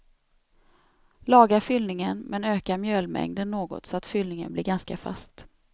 Laga fyllningen men öka mjölmängden något så att fyllningen blir ganska fast.